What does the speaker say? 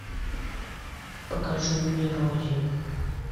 покажи мне рози